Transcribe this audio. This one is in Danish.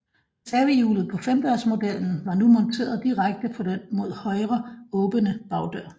Reservehjulet på femdørsmodellen var nu monteret direkte på den mod højre åbnende bagdør